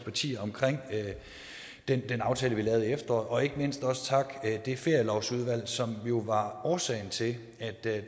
partier om den aftale vi lavede i efteråret og ikke mindst også takke det ferielovsudvalg som jo var årsagen til at